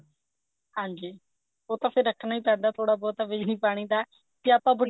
ਹਾਂਜੀ ਉਹ ਤਾਂ ਫੇਰ ਰੱਖਣਾ ਹੀ ਪੈਂਦਾ ਥੋੜਾ ਬਹੁਤ ਬਿਜਲੀ ਪਾਣੀ ਦਾ ਕੇ ਆਪਾਂ